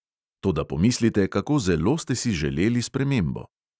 Toda pomislite, kako zelo ste si želeli spremembo.